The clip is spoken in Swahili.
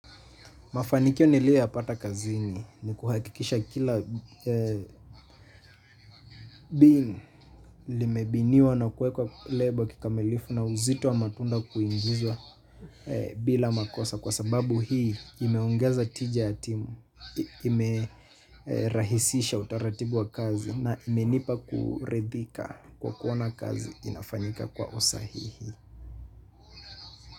Mafanikio nilio yapata kazini ni kuhakikisha kila bini. Limebiniwa na kuekwa label kikamilifu na uzito wa matunda kuingizwa bila makosa. Kwa sababu hii imeongeza tija ya timu, imerahisisha utaratibu wa kazi na imenipa kurethika kwa kuona kazi inafanyika kwa usahihi.